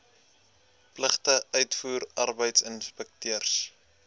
pligte uitvoer arbeidsinspekteurs